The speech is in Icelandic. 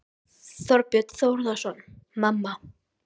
Þorbjörn Þórðarson: Mamma?